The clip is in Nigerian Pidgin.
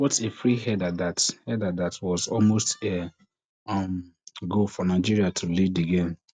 wat a free header dat header dat was almost um um goal for nigeria to lead di game